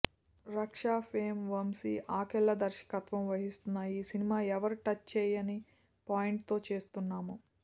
రక్ష ఫేం వంశీ ఆకెళ్ళ దర్శకత్వం వహిస్తున్న ఈ సినిమా ఎవరూ టచ్ చేయని పాయింట్ తో చేస్తున్నాము